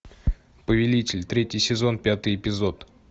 повелитель третий сезон пятый эпизод